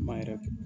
Ma yɛrɛ kɛ